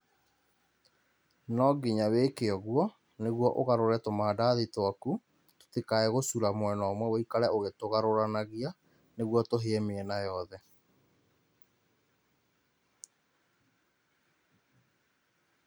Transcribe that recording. Nonginya wĩke ũguo, nĩguo ũgarũre tũmandathi twaku, tũtikae gũcura mwena ũmwe, ũikare ũgĩtũgarũranagia nĩguo tũhĩe mĩena yothe